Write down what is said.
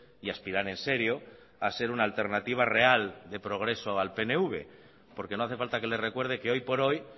y aspiran en serio a ser una alternativa real de progreso al pnv porque no hace falta que le recuerde que hoy por hoy